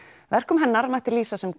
verkum hennar mætti lýsa sem